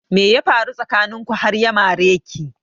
Me ya faru tsakanin ku har ya mare ki?